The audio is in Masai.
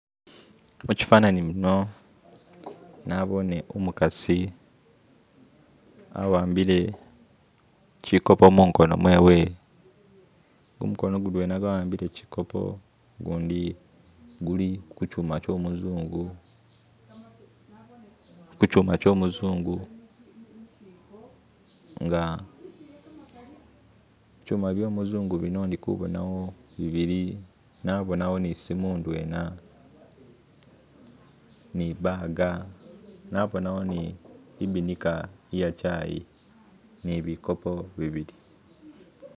mukyifananyi muno nabone umukasi awambile kikopo mungono mwewe gumukono mudwena gwawambile kikopo gundi guli kukyuma kyomuzungu kukyuma kyomuzungu nga ikyuma byo muzungu bino indikubonawo bibili nabonawo ni isismu ndwena ni'ibaga nabonawo ni'ibinika iya chai ni bikopo bibili.